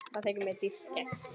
Það þykir mér dýrt kex.